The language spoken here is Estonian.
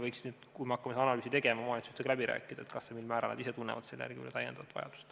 Kui me hakkame sellekohast analüüsi tegema, siis võiks omavalitsustega läbi rääkida, kas ja mil määral nad ise tunnevad selle järele vajadust.